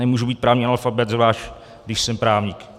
Nemůžu být právní analfabet, zvlášť když jsem právník.